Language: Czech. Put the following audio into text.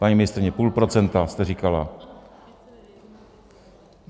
Paní ministryně, půl procenta jste říkala.